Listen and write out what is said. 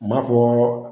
M'a fɔ